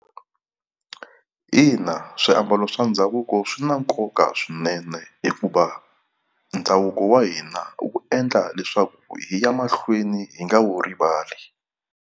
Ina, swiambalo swa ndhavuko swi na nkoka swinene hikuva ndhavuko wa hina wu endla leswaku hi ya mahlweni hi nga wu rivali.